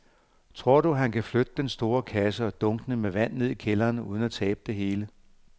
Tror du, at han kan flytte den store kasse og dunkene med vand ned i kælderen uden at tabe det hele?